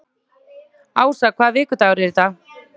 Ása, hvaða vikudagur er í dag?